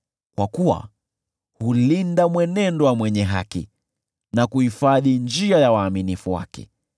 kwa kuwa hulinda mwenendo wa mwenye haki na kuhifadhi njia ya waaminifu wake.